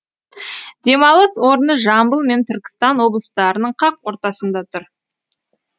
демалыс орны жамбыл мен түркістан облыстарының қақ ортасында тұр